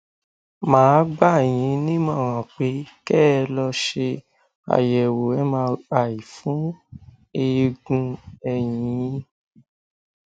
mà á gbà yín nímọràn pé kẹ ẹ lọ ṣe àyẹwò mri fún eegun ẹyìn yín